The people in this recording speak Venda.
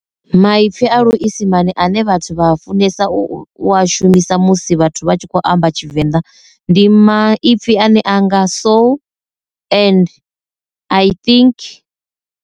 Maipfhi a luisimane ane vhathu vha funesa u a shumisa musi vhathu vha tshi khou amba tshivenda ndi maipfhi ane anga so, and, i think.